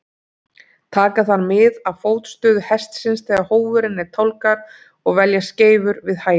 Taka þarf mið af fótstöðu hestsins þegar hófurinn er tálgaður og velja skeifur við hæfi.